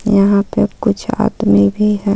यहां पे कुछ हाथ में भी है.